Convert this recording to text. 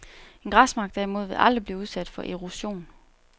En græsmark derimod vil aldrig blive udsat for erosion.